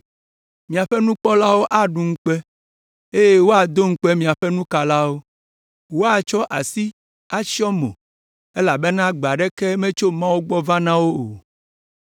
Miaƒe nukpɔlawo aɖu ŋukpe eye woado ŋukpe miaƒe nukalawo. Woatsɔ asi atsyɔ mo elabena gbe aɖeke metso Mawu gbɔ na wo o.”